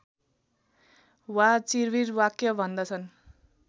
वा चिर्विर वाक्य भन्दछन्